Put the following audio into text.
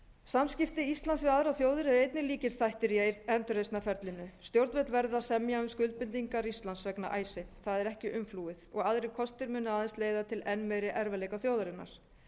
samskipti íslands við aðrar þjóðir eru einnig lykilþættir í endurreisnarferlinu stjórnvöld verða að semja um skuldbindingar íslands vegna icesave það er ekki umflúið og aðrir kostir munu aðeins leiða til enn meiri erfiðleika þjóðarinnar